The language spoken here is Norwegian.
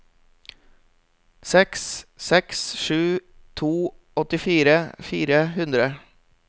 seks seks sju to åttifire fire hundre